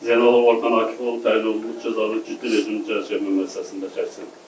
Zeynalov Orxan Akif oğlu təyin olunmuş cəzanı ciddi rejimli cəzaçəkmə müəssisəsində çəksin.